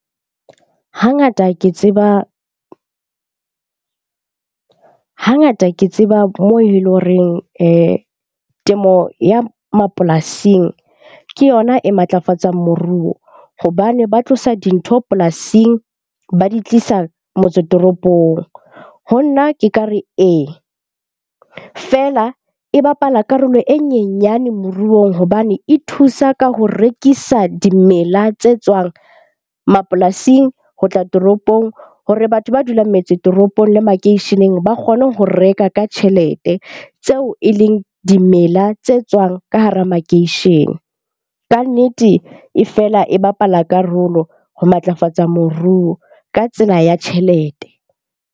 Hangata ke tseba mo e leng horeng temo ya mapolasing ke yona e matlafatsang moruo. Hobane ba tlosa dintho polasing, ba di tlisa motse toropong. Ho nna, ke ka re eng ee. Feela e bapala karolo e nyenyane moruong. Hobane e thusa ka ho rekisa dimela tse tswang mapolasing ho tla toropong hore batho ba dulang metse toropong le makeisheneng ba kgone ho reka ka tjhelete, tseo e leng dimela tse tswang ka hara makeishene. Kannete e fela e bapala karolo ho matlafatsa moruo ka tsela ya tjhelete.